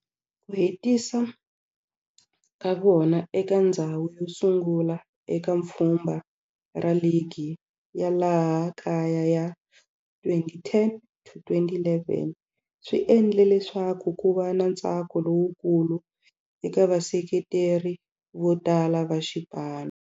Ku hetisa ka vona eka ndzhawu yosungula eka pfhumba ra ligi ya laha kaya ya 2010 to 11 swi endle leswaku kuva na ntsako lowukulu eka vaseketeri votala va xipano.